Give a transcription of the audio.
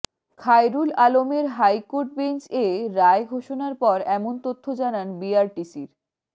খায়রুল আলমের high court bench এ রায় ঘোষণার পর এমন তথ্য জানান বিআরটিসির